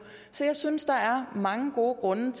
så jeg synes der er mange gode grunde